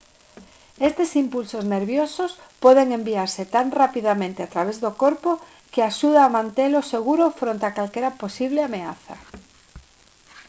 estes impulsos nerviosos poden enviarse tan rapidamente a través do corpo que axuda a mantelo seguro fronte a calquera posible ameaza